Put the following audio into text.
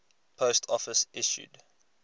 post office issued